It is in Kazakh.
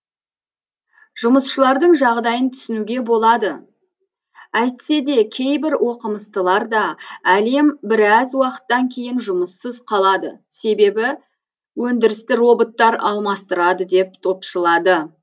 жұмысшылардың жағдайын түсінуге болады әйтсе де кейбір оқымыстылар да әлем біраз уақыттан кейін жұмыссыз қалады себебі өндірісті роботтар алмастырады деп топшылады